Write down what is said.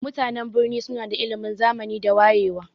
Mutanan birni suna da ilimin zamani da wayewa.